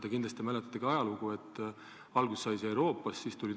Te kindlasti teate, et alguse sai see mujalt Euroopast.